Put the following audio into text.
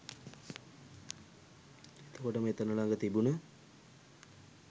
එතකොටම එතන ළග තිබුණ